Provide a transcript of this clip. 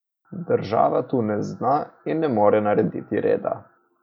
Država tu ne zna in ne zmore narediti reda.